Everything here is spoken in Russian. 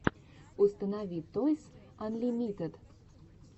установи тойс анлимитед